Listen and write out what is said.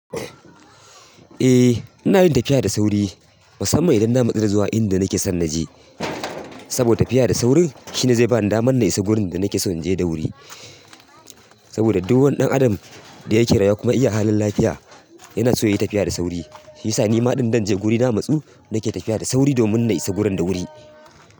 Eh ina yin tafiya da sauri musamman idan na matsu da zuwa inda nake son na je. Saboda tafiya da sauri shine zai ba ni damar na isa wurin da nake son inje da wuri. Saboda duk wani ɗan adam da yake rayuwa kuma iya halin lafiya yana so ya yi tafiya da sauri. Shiyasa nima in zanje guri na matsu nike tafiya da sauri domin na isa gurin da wuri.